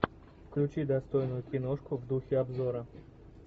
включи достойную киношку в духе обзора